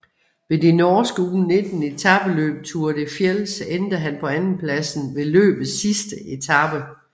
Ved det norske U19 etapeløb Tour de Fjells endte han på andenpladsen ved løbets sidste etape